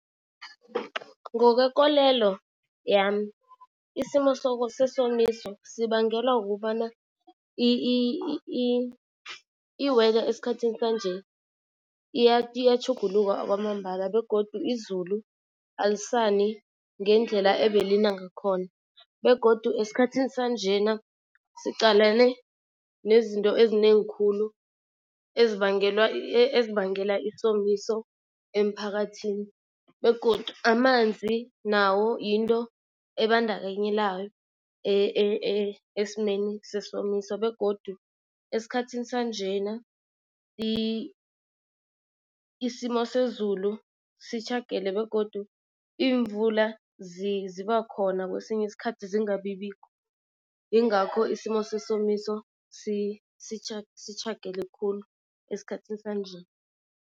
Ngokwekolelo yami isimo sesomiso sibangelwa kukobana i-weather esikhathini sanje iyatjhuguluka kwamambala. Begodu izulu alisani ngendlela ebelina ngakhona begodu esikhathini sanjena siqalane nezinto ezinengi khulu ezibangela isomiso emphakathini. Begodu amanzi nawo yinto ebandakanyelayo esimeni sesomiso begodu esikhathini sanjena isimo sezulu sitjhagele begodu imvula zibakhona kwesinye isikhathi zingabibikho. Ingakho isimo sesomiso sitjhagele khulu esikhathini sanje.